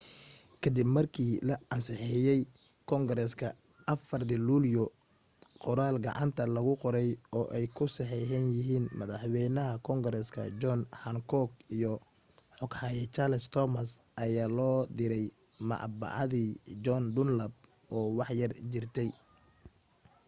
kadib markii la ansixiyay kongareeska 4 luulyo, qoraal gacanta lagu qoray oo ay ku saxeexan yihiin madaxwaynaha koongareeska john hancock iyo xoghaye charles thomson ayaa loo diray madbacadii john dunlap oo wax yar jirta